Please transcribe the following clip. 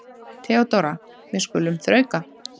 THEODÓRA: Við skulum þrauka.